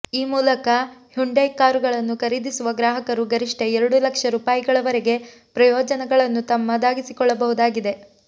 ಈ ಮೂಲಕ ಹ್ಯುಂಡೈ ಕಾರುಗಳನ್ನು ಖರೀದಿಸುವ ಗ್ರಾಹಕರು ಗರಿಷ್ಠ ಎರಡು ಲಕ್ಷ ರುಪಾಯಿಗಳ ವರೆಗೆ ಪ್ರಯೋಜನಗಳನ್ನು ತಮ್ಮದಾಗಿಸಿಕೊಳ್ಳಬಹುದಾಗಿದೆ